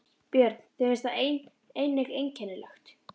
Björn: Þér finnst það einnig einkennilegt?